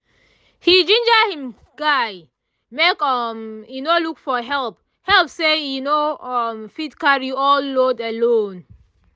he ginger him guy make um e look for help help say e no um fit carry all the load alone